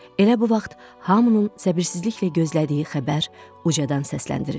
Elə bu vaxt hamının səbirsizliklə gözlədiyi xəbər ucadan səsləndirildi.